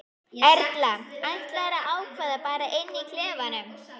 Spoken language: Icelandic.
Erla: Ætlarðu að ákveða bara inni í klefanum?